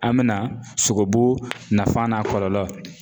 An bɛna sogobu nafan n'a kɔlɔlɔ